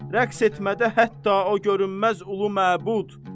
Rəqs etmədə hətta o görünməz ulu məbud.